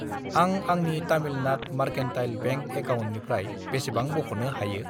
आं आंनि Tamilnad mercantile bank एकाउन्टनिफ्राय बेसेबां बख'नो हायो?